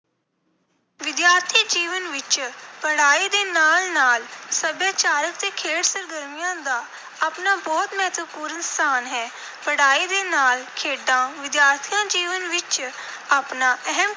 ਵਿਦਿਆਰਥੀ ਜੀਵਨ ਵਿੱਚ ਪੜ੍ਹਾਈ ਦੇ ਨਾਲ ਨਾਲ ਸੱਭਿਆਚਾਰਕ ਅਤੇ ਖੇਡ ਸਰਗਰਮੀਆਂ ਦਾ ਆਪਣਾ ਬਹੁਤ ਮਹੱਤਵਪੂਰਨ ਸਥਾਨ ਹੈ। ਪੜ੍ਹਾਈ ਦੇ ਨਾਲ ਖੇਡਾਂ ਵਿਦਿਆਰਥੀ ਜੀਵਨ ਵਿੱਚ ਆਪਣਾ ਅਹਿਮ